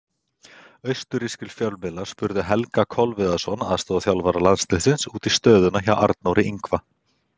Austurrískir fjölmiðlar spurðu Helga Kolviðsson, aðstoðarþjálfara landsliðsins, út í stöðuna hjá Arnóri Ingva.